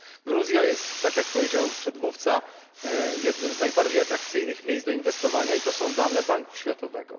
Gruzja jest, jak powiedział przedmówca, jednym z najbardziej atrakcyjnych miejsc do inwestowania i to są dane Banku Światowego.